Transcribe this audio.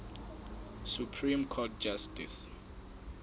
supreme court justice